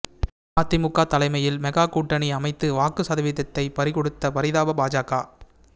அதிமுக தலைமையில் மெகா கூட்டணி அமைத்து வாக்கு சதவீத்தை பறிகொடுத்த பரிதாப பாஜக